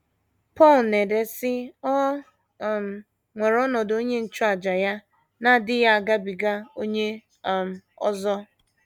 Pọl na - ede, sị: “ O um nwere ọnọdụ onye nchụàjà Ya na - adịghị agabiga onye um ọzọ.